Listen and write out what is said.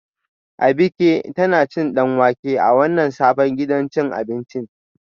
Abike tana cin danwake a wannan sabon gidan cin abinci